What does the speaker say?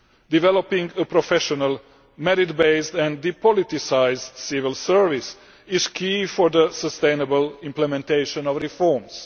Developing a professional, merit based and depoliticised civil service is key for the sustainable implementation of reforms.